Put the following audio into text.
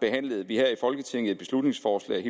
behandlede vi her i folketinget et beslutningsforslag